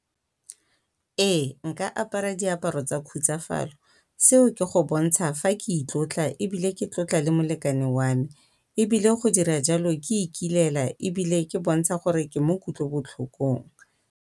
Ee, nka apara diaparo tsa khutsafalo, seo ke go bontsha fa ke itlotla ebile ke tlotla le molekane wa me ebile go dira jalo ke ikilela ebile ke bontsha gore ke mo kutlobotlhokong.